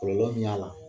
Kɔlɔlɔ min y'a la